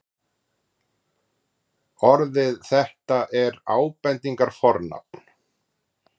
orðið þetta er ábendingarfornafn